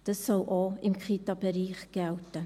Das soll auch im Kitabereich gelten.